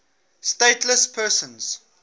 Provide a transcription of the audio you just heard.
stateless persons